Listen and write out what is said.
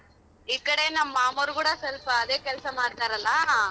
ಈ ಕಡೆ ನಮ್ ಮಾಮೋರ್ ಕೂಡ ಸೊಲ್ಪ ಅದೇ ಕೆಲ್ಸ ಮಾಡ್ತಾರಲ್ಲ.